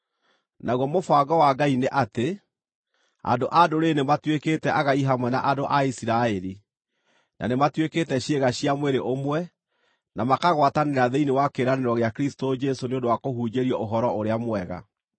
Naguo mũbango wa Ngai nĩ atĩ, andũ-a-Ndũrĩrĩ nĩmatuĩkĩte agai hamwe na andũ a Isiraeli, na nĩmatuĩkĩte ciĩga cia mwĩrĩ ũmwe, na makagwatanĩra thĩinĩ wa kĩĩranĩro gĩa Kristũ Jesũ nĩ ũndũ wa kũhunjĩrio Ũhoro-ũrĩa-Mwega.